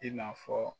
I n'a fɔ